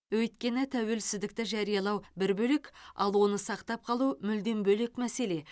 өйткені тәуелсіздікті жариялау бір бөлек ал оны сақтап қалу мүлдем бөлек мәселе